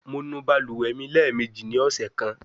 Mo nu baluwe mi lẹẹmeji ni ọsẹ kan